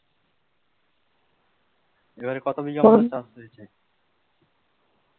এবারে কত বিঘা চাষ হয়েছে?